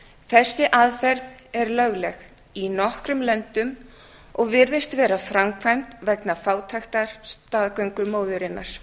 þessi aðferð er lögleg í nokkrum löndum og virðist vera framkvæmd vegna fátæktar staðgöngumóðurinnar